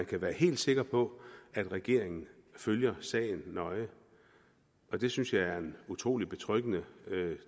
kan være helt sikre på at regeringen følger sagen nøje og det synes jeg er en utrolig betryggende